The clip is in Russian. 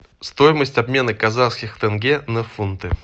стоимость обмена казахских тенге на фунты